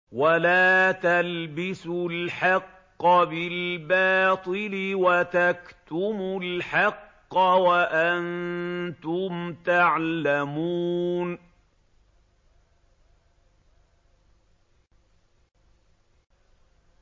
وَلَا تَلْبِسُوا الْحَقَّ بِالْبَاطِلِ وَتَكْتُمُوا الْحَقَّ وَأَنتُمْ تَعْلَمُونَ